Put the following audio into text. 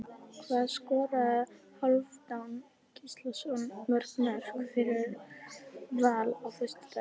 Hvað skoraði Hálfdán Gíslason mörg mörk fyrir Val á föstudaginn?